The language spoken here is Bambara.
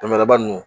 Bamaraba ninnu